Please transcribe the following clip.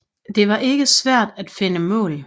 Det var ikke svært at finde mål